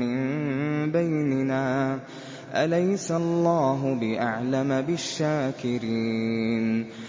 مِّن بَيْنِنَا ۗ أَلَيْسَ اللَّهُ بِأَعْلَمَ بِالشَّاكِرِينَ